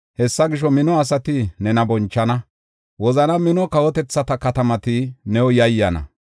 Hessa gisho, mino asati nena bonchana; wozana mino kawotethata katamati new yayyana.